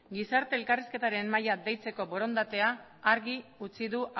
gizarte elkarrizketaren mahaia deitzeko borondatea argi utzi du